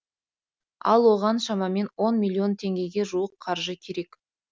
ал оған шамамен он миллион теңгеге жуық қаржы керек